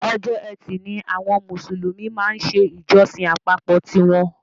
Ọjọ́ ẹtì ni àwọn Mùsùlùmí máa ń ṣe ìjọsìn àpapọ̀ tí wọn.